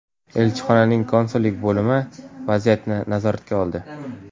Elchixonaning konsullik bo‘limi vaziyatni nazoratga oldi.